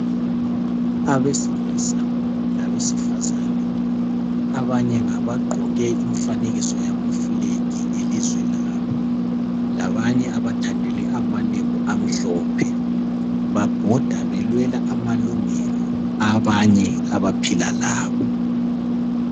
abesilisa labesifazane abanye ngabagqoke imfanekiso yama flag elizwe labo labanye abathandele amalembu amhlophe babhoda belwela amalungelo abanye abaphila labo